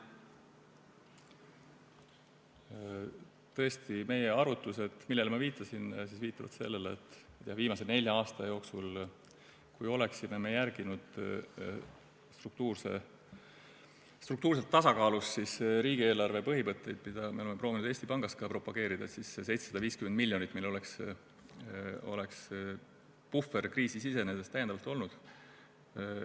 Tõesti, meie arvutused, millele ma viitasin, viitavad sellele, et kui me viimase nelja aasta jooksul oleksime järginud struktuurselt tasakaalus riigieelarve põhimõtteid, mida me oleme proovinud Eesti Pangas ka propageerida, siis oleks see 750 miljonit täiendavat puhvrit meil kriisi sisenedes olemas olnud.